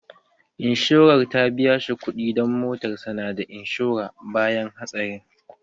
Inshorar ta biya shi kuɗi dan motarsa ​​na da inshora, bayan hatsarin